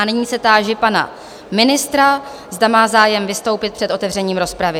A nyní se táži pana ministra, zda má zájem vystoupit před otevřením rozpravy.